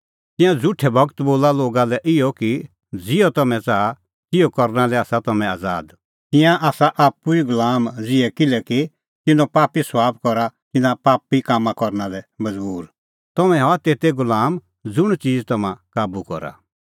तिंयां झ़ुठै गूरू बोला लोगा लै इहअ कि ज़िहअ तम्हैं च़ाहा तिहअ करना लै आसा तम्हैं आज़ाद तिंयां आसा आप्पू ई गुलामा ज़िहै किल्हैकि तिन्नों पापी सभाब करा तिन्नां पापी कामां करना लै मज़बूर तम्हैं हआ तेते गुलाम ज़ुंण च़ीज़ तम्हां काबू करा